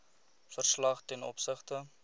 verslag ten opsigte